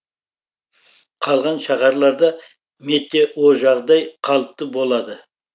қалған шаһарларда метеожағдай қалыпты болады